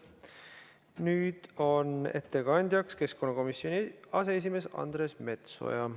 Nüüd on ettekandjaks keskkonnakomisjoni aseesimees Andres Metsoja.